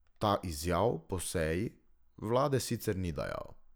Ta izjav po seji vlade sicer ni dajal.